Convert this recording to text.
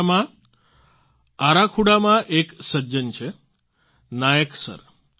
ઓડિશામાં અરાખુડામાં એક સજ્જન છે નાયક સર